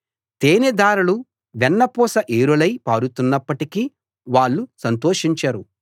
తేనెధారలు వెన్నపూస ఏరులై పారుతున్నప్పటికీ వాళ్ళు సంతోషించరు